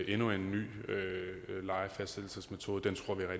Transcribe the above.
endnu en ny lejefastsættelsesmetode